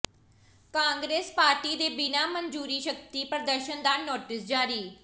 Congress party ਦੇ ਬਿਨਾਂ ਮਨਜੂਰੀ ਸ਼ਕਤੀ ਪ੍ਰਦਰਸ਼ਨ ਦਾ ਨੋਟਿਸ ਜਾਰੀ